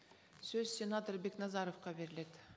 сөз сенатор бекназаровқа беріледі